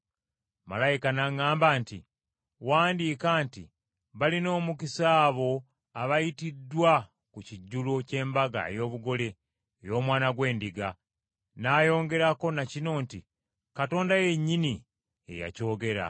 Malayika n’aŋŋamba nti, “Wandiika nti balina omukisa abo abayitiddwa ku kijjulo ky’embaga ey’obugole ey’Omwana gw’Endiga.” N’ayongerako na kino nti, “Katonda yennyini ye yakyogera.”